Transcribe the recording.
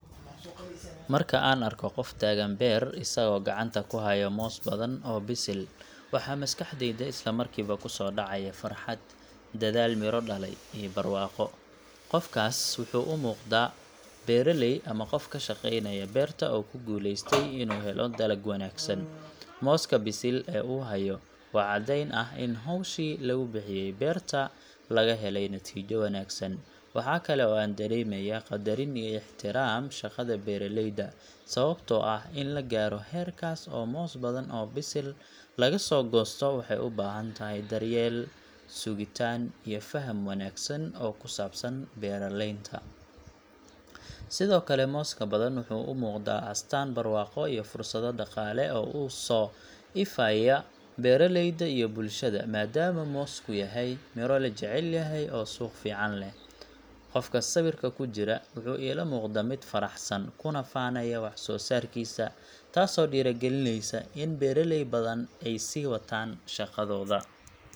Marka aan arko qof taagan beer isagoo gacanta ku haya moos badan oo bisil, waxa maskaxdayda isla markiiba ku soo dhacaya farxad, dadaal miro dhalay, iyo barwaaqo. Qofkaas waxa uu u muuqdaa beeraley ama qof ka shaqeynaya beerta oo ku guuleystay inuu helo dalag wanaagsan. Mooska bisil ee uu hayo waa caddeyn ah in hawshii lagu bixiyay beerta laga helay natiijo wanaagsan. Waxa kale oo aan dareemayaa qadarin iyo ixtiraam shaqada beeraleyda, sababtoo ah in la gaaro heerkaas oo moos badan oo bisil laga soo goosto waxay u baahan tahay daryeel, sugitaan iyo faham wanaagsan oo ku saabsan beeraleynta. Sidoo kale, mooska badan wuxuu u muuqdaa astaan barwaaqo iyo fursado dhaqaale oo u soo ifaya beeraleyda iyo bulshada, maadaama moosku yahay miro la jecel yahay oo suuq fiican leh. Qofka sawirka ku jira wuxuu ila muuqdaa mid faraxsan, kuna faanaya wax-soosaarkiisa, taasoo dhiirrigelinaysa in beeraley badan ay sii wataan shaqadooda.